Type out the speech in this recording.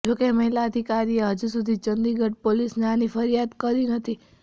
જો કે મહિલા અધિકારીએ હજુ સુધી ચંદીગઢ પોલિસને આની ફરિયાદ કરી નથી